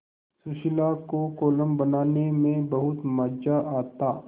सुशीला को कोलम बनाने में बहुत मज़ा आता